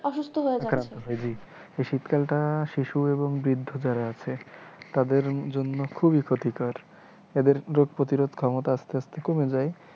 অসুস্থ হয়ে যায় এই শীতকালটা শিশু এবং বৃদ্ধ যারা আছে তাদের জন্য খুবই ক্ষতিকর, তাদের রোগ প্রতিরোধ ক্ষমতা আস্তে আস্তে কমে যায়।